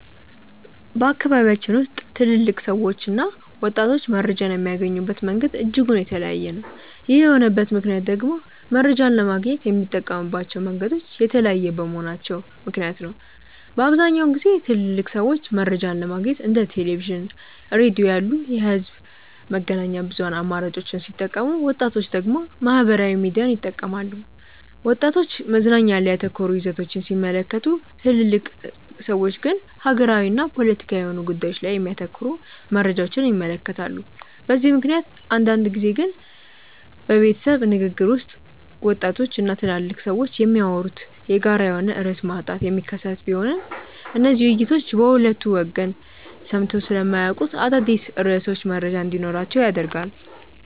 በአካባቢያችን ውስጥ ትልልቅ ሰዎችና ወጣቶች መረጃን የሚያገኙበት መንገድ እጅጉን የተለያየ ነው። ይህ የሆነበት ምክንያት ደግሞ መረጃን ለማግኘት የሚጠቀሙባቸው መንገዶች የተለያዩ በመሆናቸው ምክንያት ነው። በአብዛኛውን ጊዜ ትልልቅ ሰዎች መረጃን ለማግኘት እንደ ቴሌቪዥን፣ ሬዲዮ ያሉ የህዝብ መገናኛ ብዙሃን አማራጮችን ሲጠቀሙ ወጣቶች ደግሞ ማህበራዊ ሚዲያን ይጠቀማሉ። ወጣቶች መዝናኛ ላይ ያተኮሩ ይዘቶችን ሲመለከቱ ትልልቅ ሰዎች ግን ሀገራዊና ፖለቲካዊ የሆኑ ጉዳዮች ላይ የሚያተኩሩ መረጃዎችን ይመለከታሉ። በዚህ ምክንያት አንዳንድ ጊዜ በቤተሰብ ንግግር ውስጥ ወጣቶች እና ትልልቅ ሰዎች የሚያወሩበት የጋራ የሆነ ርዕስ ማጣት የሚከሰት ቢሆንም እነዚህ ውይይቶች በሁለቱ ወገን ሰምተው ስለማያውቁት አዳዲስ ርዕሶች መረጃ እንዲኖራቸው ያደርጋል።